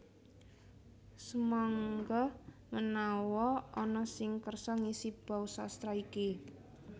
Sumangga menawa ana sing kersa ngisi bausastra iki